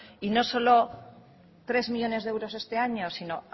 y no solo tres millónes de euros este año sino